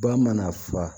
Ba mana fa